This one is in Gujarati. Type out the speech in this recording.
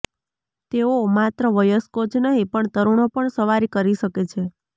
તેઓ માત્ર વયસ્કો જ નહીં પણ તરુણો પણ સવારી કરી શકે છે